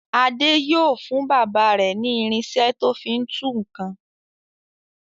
Adé yóò fún bàbá rẹ̀ ní irinṣẹ́ tó fi ń tú nǹkan.